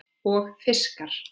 Og fiskar.